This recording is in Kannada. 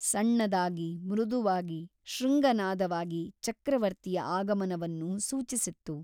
ಸಣ್ಣದಾಗಿ ಮೃದುವಾಗಿ ಶೃಂಗನಾದವಾಗಿ ಚಕ್ರವರ್ತಿಯ ಆಗಮನವನ್ನು ಸೂಚಿಸಿತ್ತು.